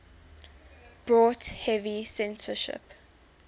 brought heavy censorship